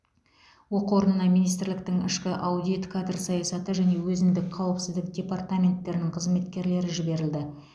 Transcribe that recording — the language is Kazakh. оқу орнына министрліктің ішкі аудит кадр саясаты және өзіндік қауіпсіздік департаменттерінің қызметкерлері жіберілді